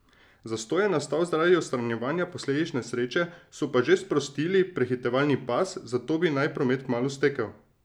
Zastoj je nastal zaradi odstranjevanja posledic nesreče, so pa že sprostili prehitevalni pas, zato bi naj promet kmalu stekel.